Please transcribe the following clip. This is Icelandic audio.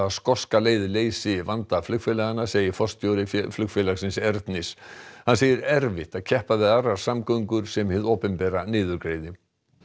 skoska leið leysi vanda flugfélaganna segir forstjóri flugfélagsins Ernis hann segir erfitt að keppa við aðrar samgöngur sem hið opinbera niðurgreiði